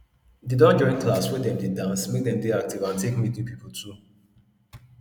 dey don join class wey dem dey dance make dem dey active and take meet new new people too